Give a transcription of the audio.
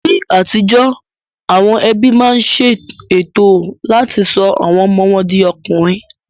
Ní àtijó, àwọn ẹbí máa ń ṣe ètò láti sọ àwọn ọmọ wọn di ọkùnrin